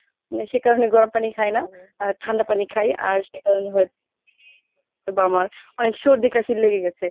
সে কারনে গরম পানি খাই না আর ঠান্ডা পানি খাই আর সেকারণেই হয়তো বা আমার অনেক সর্দি কাশি লেগে গেছে।